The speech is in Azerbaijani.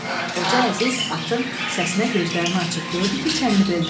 Xoca Əziz atın səsinə gözlərini açıb gördü ki, çənlidədir.